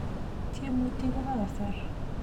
tyemutik ko Kobo kasar